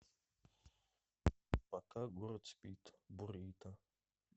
пока город спит бурито